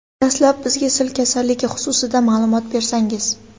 Dastlab bizga sil kasalligi xususida ma’lumot bersangiz.